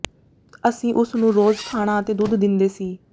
ਅਸੀਂ ਉਸ ਨੂੰ ਰੋਜ਼ ਖਾਣਾ ਅਤੇ ਦੁੱਧ ਦਿੰਦੇ ਸੀ